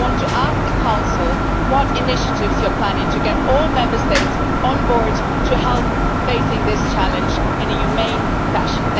Therefore, I want to ask the Council what initiatives it is planning to get all Member States on board to help in facing this challenge in a humane fashion.